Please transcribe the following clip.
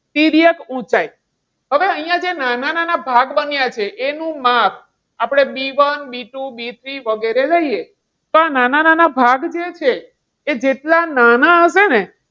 તિર્યક ઊંચાઈ. હવે અહીંયા જે નાના નાના ભાગ બન્યા છે. એનું માપ આપણે B one B two B three વગેરે લઈએ તો આ નાના નાના ભાગ જે છે, એ જેટલા નાના હશે ને,